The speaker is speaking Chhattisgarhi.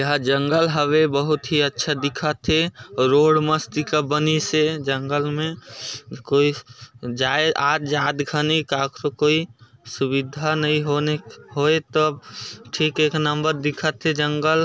यहाँ जंगल हवे बहुत ही अच्छा दिखथे रोड मस्तिका बनीसे जंगल मे कोई जाए आत जात घनी सुविधा नइ होनी होय तब ठीक एक नंबर दिखत हे जंगल--